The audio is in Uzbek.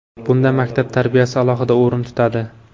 Bunda maktab tarbiyasi alohida o‘rin tutadi.